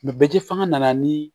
bɛ ji fanga nana ni